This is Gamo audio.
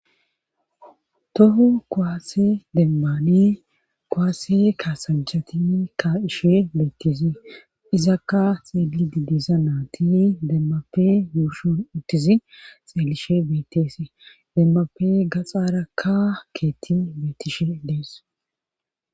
tohu kowaasse demmani kowaase kaasanjhati ka ishe beettisi izakka xeeli didiza naatini demmape yuushon uttizi xeelishe beetese demmape gaxaarakka keetti beetishe dees